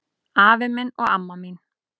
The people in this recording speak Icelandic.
Afi minn og amma mín